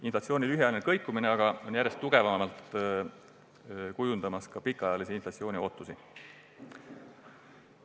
Inflatsiooni lühiajaline kõikumine on aga järjest tugevamalt kujundamas ka pikaajalise inflatsiooni ootusi.